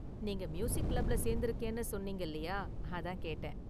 நீங்க மியூசிக் கிளப்ல சேர்ந்திருக்கேன்னு சொன்னீங்க இல்லியா, அதான் கேட்டேன்.